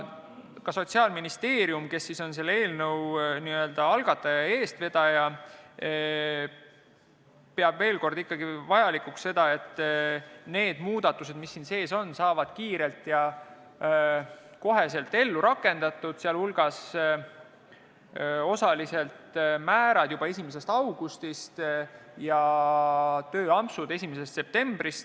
Ka Sotsiaalministeerium, kes on selle eelnõu algataja ja eestvedaja, peab ikkagi vajalikuks seda, et need muudatused, mis siin sees on, saavad kiiresti ja otsekohe ellu rakendatud, sh osalised määrad juba 1. augustist ja tööampsud 1. septembrist.